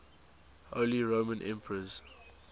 holy roman emperors